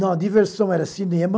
Não, a diversão era cinema.